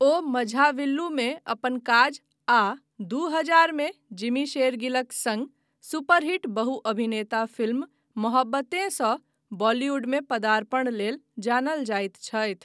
ओ मझाविल्लुमे अपन काज आ दू हजार मे जिमी शेरगिलक सङ्ग सुपर हिट बहु अभिनेता फिल्म मोहब्बतें सँ बॉलीवुडमे पदार्पण लेल जानल जाइत छथि।